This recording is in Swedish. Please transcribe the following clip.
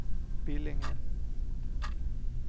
Billinge